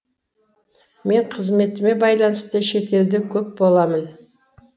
мен қызметіме байланысты шетелде көп боламын